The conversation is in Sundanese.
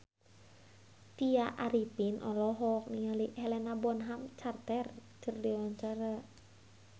Tya Arifin olohok ningali Helena Bonham Carter keur diwawancara